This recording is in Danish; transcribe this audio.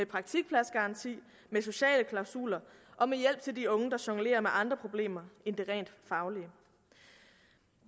praktikpladsgaranti med sociale klausuler og med hjælp til de unge der jonglerer med andre problemer end de rent faglige